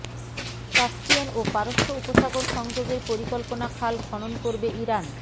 Caspian ও পারস্য উপসাগর সংযোগের পরিকল্পনা খাল খনন করবে ইরান